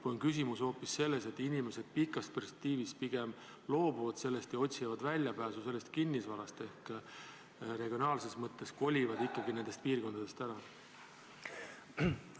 Või on küsimus hoopis selles, et inimesed pikas perspektiivis pigem loobuvad ja otsivad väljapääsu sellest kinnisvarast ehk regionaalses mõttes kolivad ikkagi nendest piirkondadest ära?